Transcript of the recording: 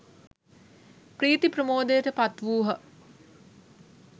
ප්‍රීති ප්‍රමෝදයට පත් වූහ.